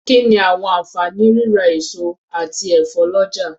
Kí ni àwọn àǹfààní rírà èso àti ẹ̀fọ́ lọ́jà.